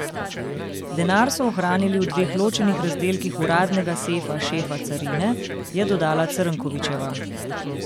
Denar so hranili v dveh ločenih razdelkih uradnega sefa šefa carine, je dodala Crnkovićeva.